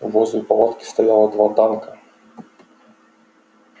возле палатки стояло два танка